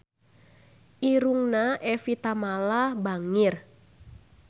Irungna Evie Tamala bangir